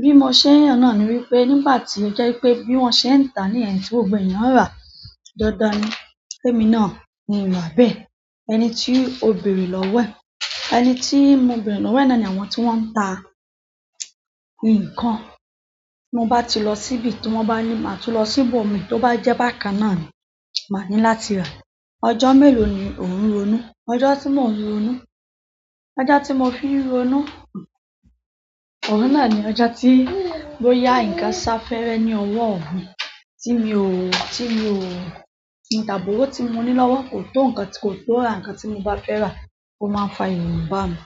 Bí mo ṣe ń yàn náà ni wípé nígbà tí ó jẹ́ pé bí wọ́n ṣe ń ta ní yen tí gbogbo eyan n rà. Dandan ni ké mi náà kin rà bẹ́ẹ̀. Ẹni tí ò beẹ̀rẹ̀ lọ́wọ́ ẹ̀, ẹni tí mo bẹ̀erẹ̀ lọ́wọ́ náà ni àwọn tí wọ́n ń ta nǹkan. Mo bá ti lọ síbi tí wọ́n bá ní, màá tún lọ sí ibòmìí tó bá jẹ́ bákan náà ni, màá ní láti rà. Ọjọ́ mélòó ni òun ronú? Ọjọ́ tí mo ń ronu, ọjọ́ tí mo fi ń rí ronu, ọ̀hun náà ni ọjọ́ tí bóyá ǹkan sá fẹ́rẹ́ ní ọwọ́ mi, tí mi ò, tí mi ò, tí tàbí òwó tí mo ní lọ́wọ́ kò tó ǹkan tí kò tó rà, ǹkan tí mo bá fẹ́ rà, ó máa ń fa ìrònú bá mi.